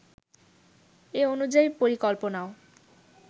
এ অনুযায়ী পরিকল্পনাও